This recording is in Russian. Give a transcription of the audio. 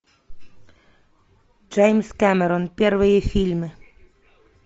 джеймс кэмерон первые фильмы